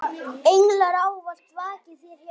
Englar ávallt vaki þér hjá.